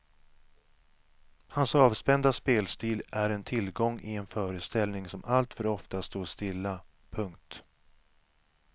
Hans avspända spelstil är en tillgång i en föreställning som alltför ofta står stilla. punkt